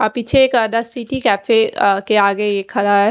अ पीछे एक the city cafe अ के आगे खड़ा है।